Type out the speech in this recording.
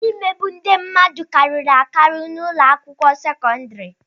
Imegbu ndị mmadụ kariri n'ụlọ akwụkwọ sekọndrị.